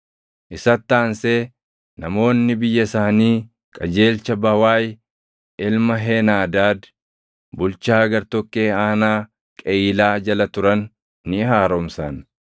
Isatti aansee namoonni biyya isaanii qajeelcha Bawaayi ilma Heenaadaad bulchaa gartokkee aanaa Qeyiilaa jala turan ni haaromsan.